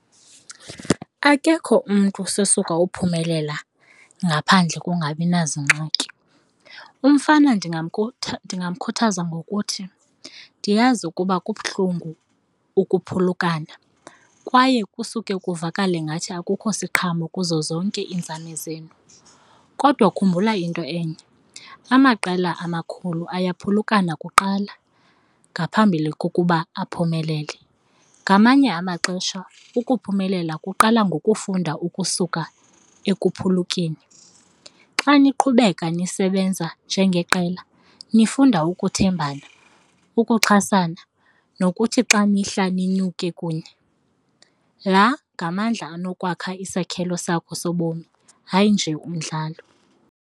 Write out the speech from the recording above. Akekho umntu osesuka okuphumelela ngaphandle kongabi nazingxaki. Umfana ndingamkhuthaza ngokuthi, ndiyazi ukuba kubuhlungu ukuphulukana kwaye kusuke kuvakala ingathi akukho siqhamo kuzo zonke iinzame zenu. Kodwa khumbula into enye, amaqela amakhulu ayaphulukana kuqala ngaphambili kokuba aphumelele. Ngamanye amaxesha ukuphumelela kuqala ngokufunda ukusuka ekuphulukeni. Xa niqhubeka nisebenza njengeqela nifunda ukuthembana, ukuxhasana nokuthi xa nihla ninyuke kunye. La ngamandla anokwakha isakhelo sakho sobomi, hayi nje umdlalo.